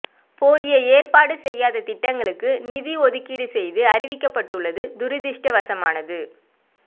போதிய ஏற்பாடு செய்யாத திட்டங்களுக்கு நிதி ஒதுக்கீடு செய்து அறிவிக்கப்பட்டுள்ளது துரதிருஷ்டவசமானது